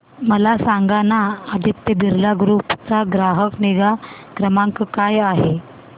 मला सांगाना आदित्य बिर्ला ग्रुप चा ग्राहक निगा क्रमांक काय आहे